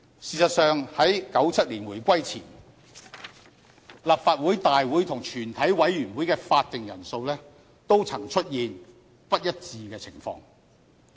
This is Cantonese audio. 事實上，在1997年回歸前，立法局大會和全體委員會的法定人數也曾出現不一致的情況。